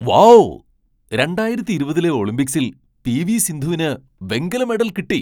Wow , രണ്ടായിരത്തി ഇരുപതിലെ ഒളിമ്പിക്സിൽ പി.വി. സിന്ധുവിന് വെങ്കല മെഡൽ കിട്ടി .